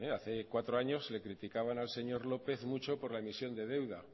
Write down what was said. hace cuatro años le criticaban al señor lópez mucho por emisión de deuda